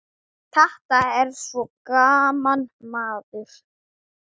Þetta er svo gaman, maður.